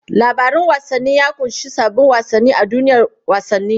Labarin wasanni ya kunshi sabbin wasanni a duniyar wasanni.